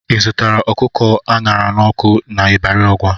Ị zụtara ọkụkọ a ṅara n'ọkụ n'Ibari Ọgwa?